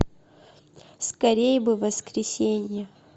скорей бы воскресенье